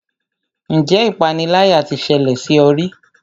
Ǹjẹ́ ipániláyà tí ṣẹlẹ̀ sí ọ rí?